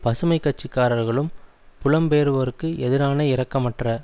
பசுமை கட்சிக்காரர்களும் புலம்பெயர்வோருக்கு எதிரான இரக்கமற்ற